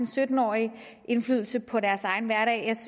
sytten årige indflydelse på deres egen hverdag